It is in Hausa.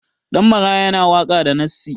Ɗan maraya yana waka da nassi